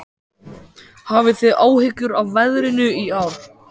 Hafið þið áhyggjur af veðrinu í ár?